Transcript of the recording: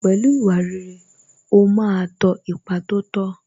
Pẹ̀lú ìwà rere, ó ma ń tọ ipa tó tọ́